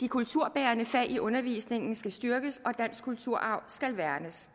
de kulturbærende fag i undervisningen skal styrkes og dansk kulturarv skal værnes